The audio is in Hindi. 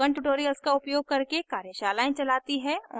spoken tutorials का उपयोग करके कार्यशालाएं चलाती है